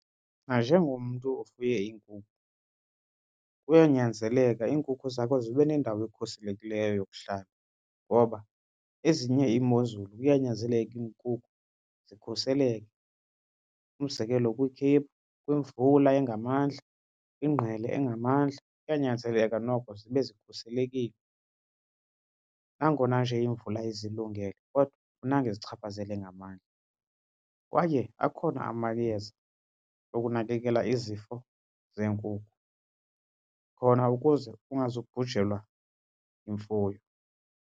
Nanjengomntu ofuye iinkukhu kuyanyanzeleka iinkukhu zakho zibe nendawo ekhuselekileyo yokuhlala ngoba ezinye iimozulu kuyanyanzeleka iinkukhu zikhuseleke. Umzekelo kwikhephu, kwimvula engamandla, ingqele engamandla, kuyanyanzeleka noko zibe zikhuselekile nangona nje imvula izilungele kodwa akufunekanga izichaphazele ngamandla. Kwaye akhona amayeza wokunakekela izifo zeenkuku khona ukuze ungazubhujelwa yimfuyo.